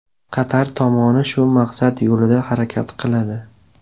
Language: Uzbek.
Qatar tomoni shu maqsad yo‘lida harakat qiladi.